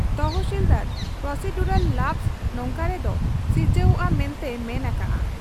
ᱛᱚᱦᱥᱤᱞᱫᱟᱨ procedural lapse ᱱᱚᱝᱠᱟ ᱨᱮᱫᱚ ᱥᱤᱨᱡᱟᱹᱣᱜ ᱟ ᱢᱮᱱᱛᱮᱭᱮ ᱢᱮᱱ ᱟᱠᱟᱜ ᱟ ᱾